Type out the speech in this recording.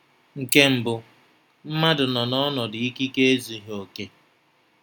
Nke mbụ, mmadụ nọ n’ọnọdụ ikike ezughị okè.